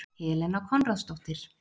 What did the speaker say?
Helena Konráðsdóttir